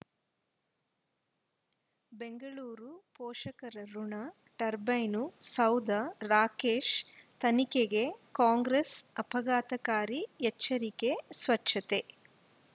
ಬೆಂಗಳೂರು ಪೋಷಕರಋಣ ಟರ್ಬೈನು ಸೌಧ ರಾಕೇಶ್ ತನಿಖೆಗೆ ಕಾಂಗ್ರೆಸ್ ಆಪಘಾತಕಾರಿ ಎಚ್ಚರಿಕೆ ಸ್ವಚ್ಛತೆ